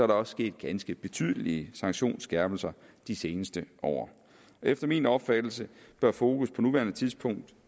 der også sket ganske betydelige sanktionsskærpelser de seneste år efter min opfattelse bør fokus på nuværende tidspunkt